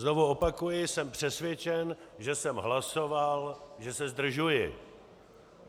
Znovu opakuji - jsem přesvědčen, že jsem hlasoval, že se zdržuji.